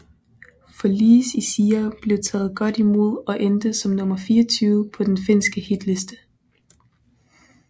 For Lies I Sire blev taget godt imod og endte som nummer 24 på den finske hitliste